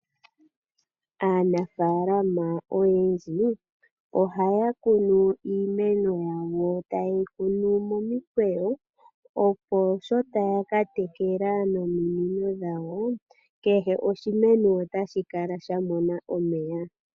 Aanafaalama oyendji ohaya kunu iimeno yawo, taye yi kunu momikwewo, opo sho taya ka tekela nominino dhawo kehe oshimeno otashi kala sha mona omeya.